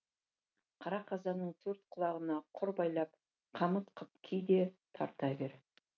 қара қазанның төрт құлағына құр байлап қамыт қып ки де тарта бер